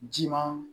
Ji ma